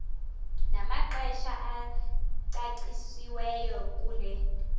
namaxesha acacisiweyo kule